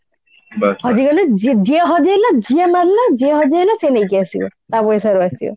ଆଜିକାଲି ଯିଏ ଯିଏ ହଜେଇଲା ଯିଏ ମାରିଲା ଯିଏ ହଜେଇଲା ସିଏ ନେଇକି ଆସିବ ତା ପଇସାର ଆସିବ